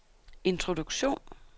introduktion